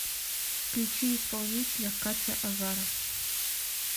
включи исполнителя катя азаров